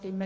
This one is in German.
Ziff.